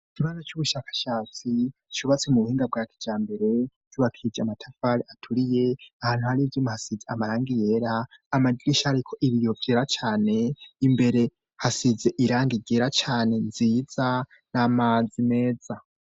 Ikibanza c'ubushakashatsi cubatse mu buhinga bwa kijambere cubakishije amatafari aturiye ahantu hari ivyuma hasize amarangi yera amadirisha ariko ibiyo vyera cane imbere hasize irangi ryera cane nziza n'amazi meza.